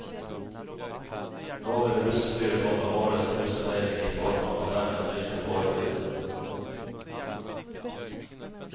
Nå vil russestyret komme årets russefeiring i forkant og dermed virke forebyggende.